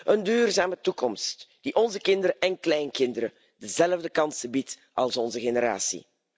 Een duurzame toekomst die onze kinderen en kleinkinderen dezelfde kansen biedt als onze generatie.